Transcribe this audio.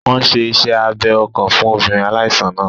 Wọ́n n ṣe iṣẹ́ abẹ ọkàn fún obìnrin aláìsàn náà